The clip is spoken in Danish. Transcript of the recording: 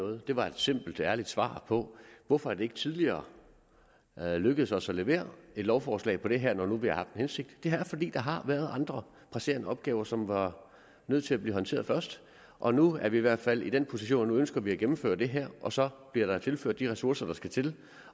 noget det var et simpelt og ærligt svar på hvorfor det ikke tidligere er lykkedes os at levere et lovforslag på det her når nu vi har haft hensigt det er fordi der har været andre presserende opgaver som var nødt til at blive håndteret først og nu er vi i hvert fald i den position at nu ønsker vi at gennemføre det her og så bliver der tilført de ressourcer der skal til